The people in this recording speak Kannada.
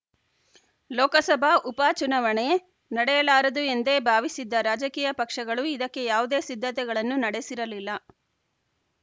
ಲೋಕಸಭಾ ಉಪ ಚುನಾವಣೆ ನಡೆಯಲಾರದು ಎಂದೇ ಭಾವಿಸಿದ್ದ ರಾಜಕೀಯ ಪಕ್ಷಗಳು ಇದಕ್ಕೆ ಯಾವುದೇ ಸಿದ್ಧತೆಗಳನ್ನು ನಡೆಸಿರಲಿಲ್ಲ